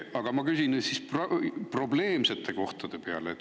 Aga ma küsin probleemsete kohtade kohta.